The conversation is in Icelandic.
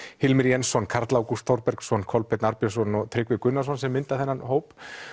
Hilmir Jensson Karl Ágúst Þorbergsson Kolbeinn Arnbjörnsson og Tryggvi Gunnarsson sem mynda þennan hóp